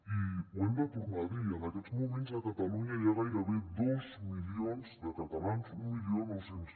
i ho hem de tornar a dir en aquests moments a catalunya hi ha gairebé dos milions de catalans mil nou cents